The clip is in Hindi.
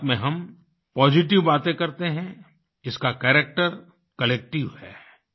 मन की बात में हम पॉजिटिव बातें करते हैं इसका कैरेक्टर कलेक्टिव है